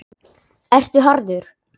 Ertu harður?